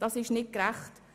Dies ist nicht gerecht.